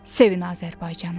Sevin Azərbaycanı.